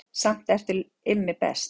Samt ertu Immi best